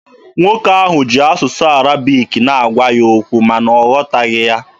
Nwoke ahụ ji asụsụ Arabic na-agwa ya okwu, ma na ọ ghọtaghị ya.